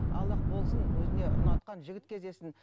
аллах болсын өзіне ұнатқан жігіт кездессін